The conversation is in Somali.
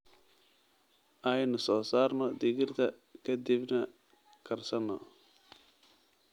Aynu soo saarno digirta ka dibna karsano.